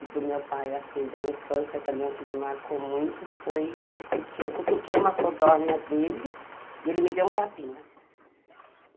E do meu pai, assim, da infância também o que me marcou muito foi que eu cutuquei uma codorna dele e ele me deu um tapinha.